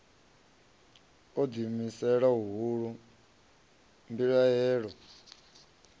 na u ḓiimisela huhulu mbilahelo